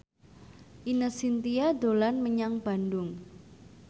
Ine Shintya dolan menyang Bandung